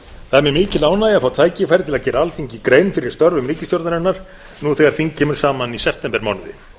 mikil ánægja að fá tækifæri til að gera alþingi grein fyrir störfum ríkisstjórnarinnar nú þegar þing kemur saman í septembermánuði